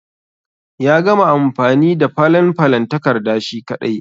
Ya gama amfani da falen falen takarda shi ƙadai.